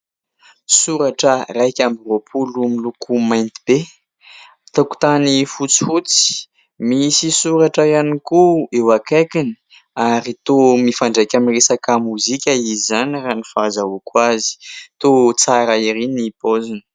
Soratra iraika amby roapolo miloko mainty be, tokotany fotsifotsy misy soratra ihany koa eo akaikiny ary toa mifandraiky amin'ny resaka mozika izany raha ny fahazahoako azy toa tsara ery ny paoziny.